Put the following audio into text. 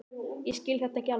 Ég skil þetta ekki alveg.